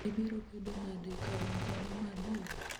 ibiro bedo nade ka in dhano madier?